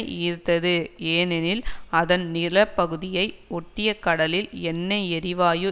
ஈர்த்தது ஏனெனில் அதன் நிலப்பகுதியை ஒட்டிய கடலில் எண்ணெய் எரிவாயு